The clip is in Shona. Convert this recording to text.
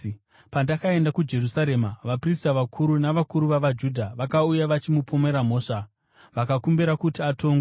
Pandakaenda kuJerusarema, vaprista vakuru navakuru vavaJudha vakauya vachimupomera mhosva vakakumbira kuti atongwe.